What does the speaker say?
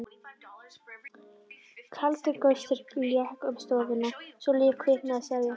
Kaldur gustur lék um stofuna svo líf kviknaði í servíettunum.